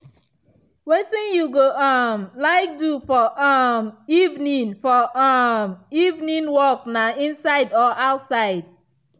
wetin you go um like do for um evening for um evening workna inside or outside.